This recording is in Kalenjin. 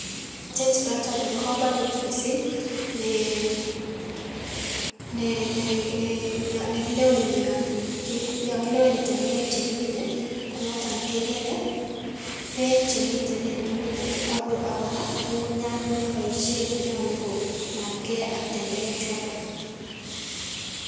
tet noton nebo komonut missing' nee nee nee nekileweni yon ki kileweni tenderek chekimine konoton kekere beek chemiten en ng'ung'unyat ak kor kora ng'ung'unyat neboisien konyolu konamgei ak tenderek choton.